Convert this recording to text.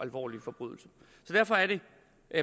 alvorlig forbrydelse derfor er det